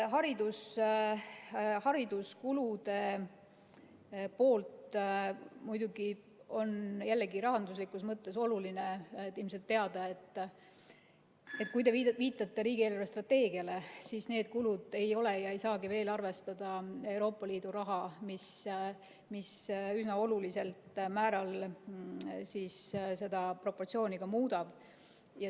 Hariduskuludest on jällegi rahanduslikus mõttes oluline ilmselt teada seda, et kui te viitate riigi eelarvestrateegiale, siis need kulud ei arvesta ega saagi veel arvestada Euroopa Liidu raha, mis üsna olulisel määral seda proportsiooni muudab.